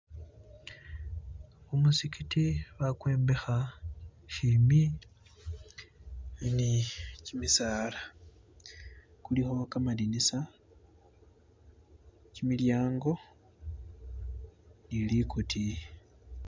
kumuzikiti bakwombeha shimi nikimisaala kuliho kamadinisa kyimilyango nilikutiyi